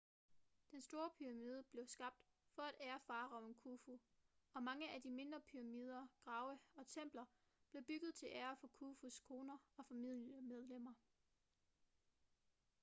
den store pyramide blev skabt for at ære faraoen khufu og mange af de mindre pyramider grave og templer blev bygget til ære for khufus koner og familiemedlemmer